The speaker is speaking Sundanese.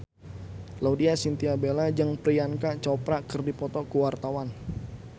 Laudya Chintya Bella jeung Priyanka Chopra keur dipoto ku wartawan